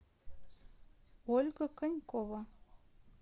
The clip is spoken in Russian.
ольга конькова